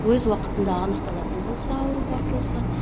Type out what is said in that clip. өз уақытында анықталатын болса ауру бар болса